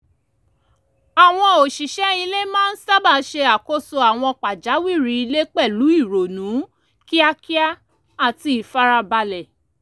àwọn òṣìṣẹ́ ilé máa ń sábà ṣe àkóso àwọn pàjáwìrì ilé pẹ̀lú ìrònú kíákíá àti ìfarabalẹ̀